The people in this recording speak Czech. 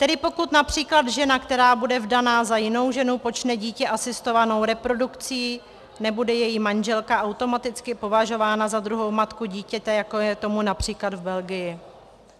Tedy pokud například žena, která bude vdaná za jinou ženu, počne dítě asistovanou reprodukcí, nebude její manželka automaticky považována za druhou matku dítěte, jako je tomu například v Belgii.